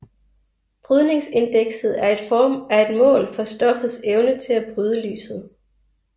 Brydningsindekset er et mål for stoffets evne til at bryde lyset